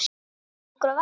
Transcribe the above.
Haukur og Vallý.